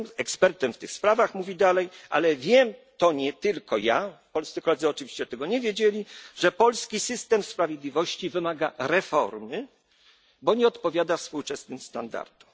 Nie jestem ekspertem w tych sprawach, mówi dalej, ale wiem to nie tylko ja, polscy koledzy oczywiście tego nie wiedzieli, że polski system sprawiedliwości wymaga reformy, bo nie odpowiada współczesnym standardom.